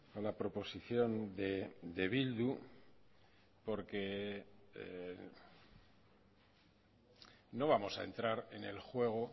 a la proposición de bildu porque no vamos a entrar en el juego